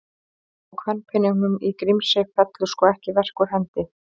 Og kvenpeningnum í Grímsey fellur sko ekki verk úr hendi.